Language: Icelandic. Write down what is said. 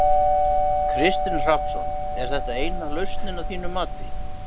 Kristinn Hrafnsson: Er þetta eina lausnin að þínu mati?